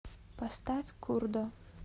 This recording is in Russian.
поставь курдо